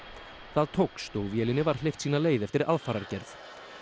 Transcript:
það tókst og vélinni var hleypt sína leið eftir aðfarargerð